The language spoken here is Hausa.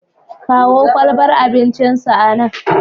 Kawo kwalbar abincinsa anan.